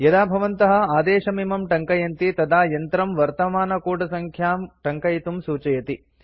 यदा भवन्तः आदेशमिमं टङ्कयन्ति तदा यन्त्रं वर्तमानकूटसङ्ख्यां टङ्कयितुं सूचयति